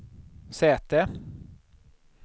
säte